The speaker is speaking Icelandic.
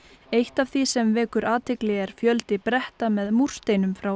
eitt af því sem vekur athygli er fjöldi bretta með múrsteinum frá